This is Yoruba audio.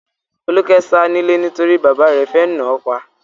Folúkẹ́ sá nílé nítorí bàbá rẹ̀ fẹ́ náà pa.